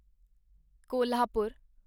Kolhapur